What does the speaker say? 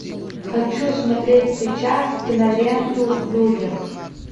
хочу смотреть сейчас киноленту в людях